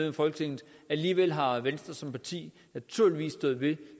af folketinget alligevel har venstre som parti naturligvis stået ved